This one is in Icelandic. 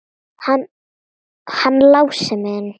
Hann Lási minn!